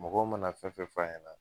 Mɔgɔw mana fɛn fɛn f'a ɲɛna